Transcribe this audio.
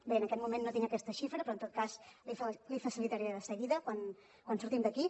bé en aquest moment no tinc aquesta xifra però en tot cas l’hi facilitaria de seguida quan sortim d’aquí